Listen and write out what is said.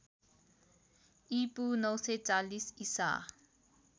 ईपू ९४० ईसा